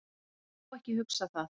Ég má ekki hugsa það.